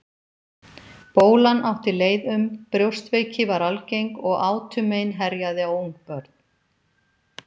Bólan átti leið um, brjóstveiki var algeng og átumein herjaði á ungabörn.